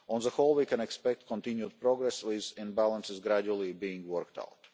imbalances. On the whole we can expect continued progress with imbalances gradually being